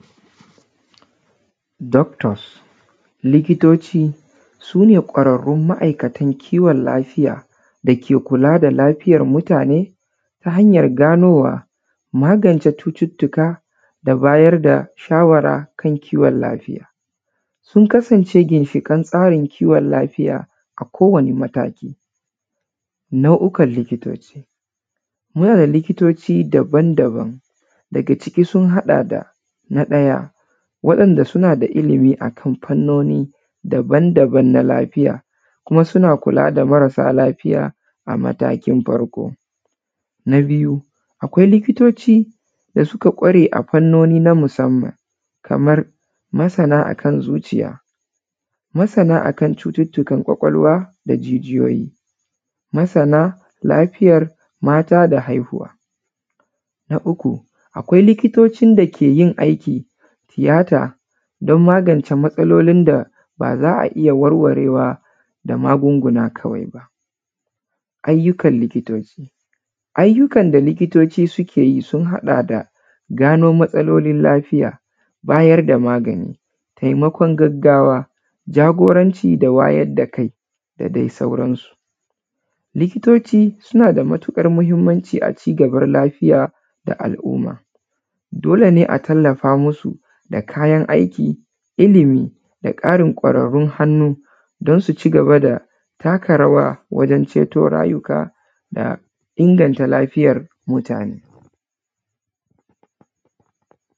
Doctors, likitoci su ne kwararrun masana kiwon lafiya da ke kula da lafiyan mutane ta hanyan ganowa, magance cututtuka da bayar da shawara na kiwon lafiya, sun kasance ginshiken tsari na kiwon lafiya a kowane mataki. Nau’okan likitoci, muna da likitoci daban-daban daga ciki sun haɗa da: na ɗaya waɗanda suna da kwarewa a fannoni daban-daban na lafiya suna kula da marasa lafiya a mataki na farko. Na biyu akwai likitoci da suka kware a fannoni na musaman kaman masana akan zuciya, masana akan cututtukan kwakwalwa da jijiyoyi, masana lafiyan mata da haihuwa. Na uku akwai likitocin da suke yin aikin tiyata don magance matsalolin da suke da za a iya warwarewa da magunguna. Ayyukan likitoci, ayyukan da likitoci suke yi sun haɗa da gano matsalolin da wowa bayar da magani taimakon gaggawa, jagoranci da wayar da kai da dai sauransu. Likitoci suna da matuƙar muhinmanci a cigabar lafiya da al’umma dole ne a taimaka musu da kayan aiki, ilimi da ƙarin kwararrun hannu don su cigaba da takarawa don ceto lafiya da inganta lafiyan mutane.